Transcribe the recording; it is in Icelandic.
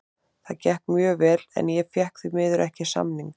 Það gekk mjög vel en ég fékk því miður ekki samning.